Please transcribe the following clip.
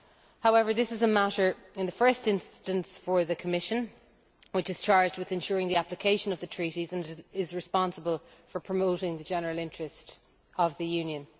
However, this is a matter in the first instance for the Commission, which is charged with ensuring the application of the Treaties and is responsible for promoting the general interest of the Union.